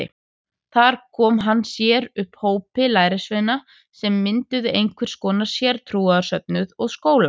Þar kom hann sér upp hópi lærisveina sem mynduðu einhvers konar sértrúarsöfnuð og skóla.